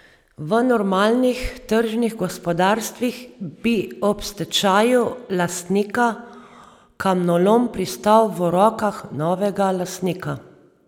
V normalnih tržnih gospodarstvih bi ob stečaju lastnika kamnolom pristal v rokah novega lastnika.